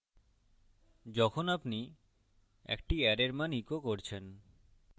যখন আপনি একটি অ্যারের মান ইকো করছেন